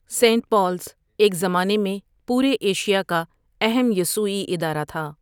Saint Paul's ایک زمانے میں پورے ایشیا کا اہم یسوعی ادارہ تھا۔